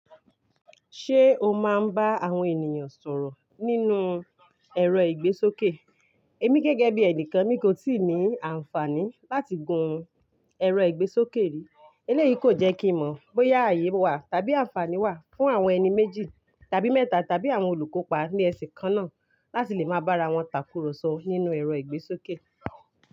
Ṣé o máa ń bá àwọn ènìyàn sọ̀rọ̀ nínú ẹ̀rọ ìgbésókè? Èmi gẹ́gẹ́ bí ẹnìkan mi kò tíì ní àǹfààní láti gun ẹ̀rọ ìgbésókè rí eléyìí kò jẹ́ kí n mọ̀ bóyá ààyè wà tàbí àǹfààní wà fún àwọn ẹni méjì tàbí mẹ́ta tàbí àwọn olùkópa ní ẹsẹ̀ kan náà láti lè máa bá ara wọn tàkùrọ̀sọ nínú ẹ̀rọ ìgbésókè.